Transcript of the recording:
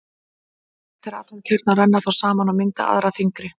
Léttir atómkjarnar renna þá saman og mynda aðra þyngri.